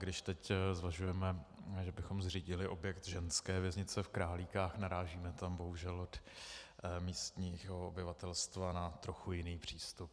Když teď zvažujeme, že bychom zřídili objekt ženské věznice v Králíkách, narážíme tam bohužel od místního obyvatelstva na trochu jiný přístup.